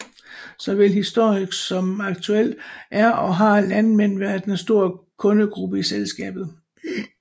Såvel historisk som aktuelt er og har landmænd været en stor kundegruppe i selskabet